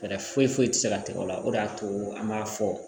Fɛɛrɛ foyi foyi tɛ se ka tɛgɛ o la o de y'a to an b'a fɔ